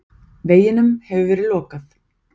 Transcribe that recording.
Veginum hefur verið lokað.